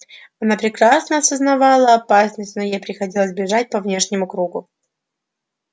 она прекрасно осознавала опасность но ей приходилось бежать по внешнему кругу